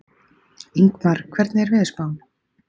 Ingmar, hvernig er veðurspáin?